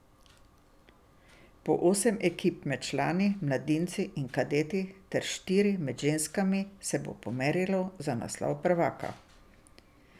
Po osem ekip med člani, mladinci in kadeti ter štiri med ženskami se bo pomerilo za naslov prvaka.